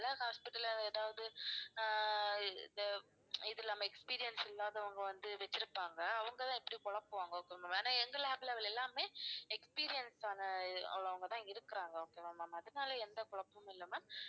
சில hospital ல எதாவது அஹ் இது இது நம்ம experience இல்லாதவங்க வந்து வெச்சிருப்பாங்க அவங்கெல்லாம் எப்படி குழப்புவாங்க ஆனா எங்க lab ல உள்ள எல்லாருமே experience ஆன உள்ளவங்க தான் இருக்கறாங்க okay வா ma'am அதனால எந்த குழப்பமும் இல்ல ma'am